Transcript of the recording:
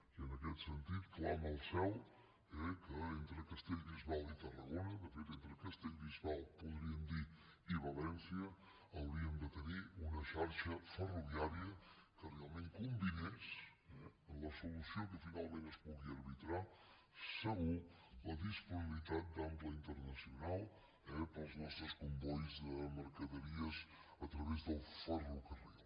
i en aquest sentit clama al cel que entre castellbisbal i tarragona de fet entre castellbisbal podríem dir i valència hauríem de tenir una xarxa ferroviària que realment combinés la solució que finalment es pugui arbitrar segur la disponibilitat d’ample internacional eh per als nostres combois de mercaderies a través del ferrocarril